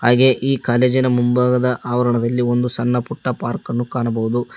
ಹಾಗೆ ಈ ಕಾಲೇಜಿನ ಮುಂಭಾಗದ ಆವರಣದಲ್ಲಿ ಒಂದು ಸಣ್ಣಪುಟ್ಟ ಪಾರ್ಕ್ ಅನ್ನು ಕಾಣಬಹುದು.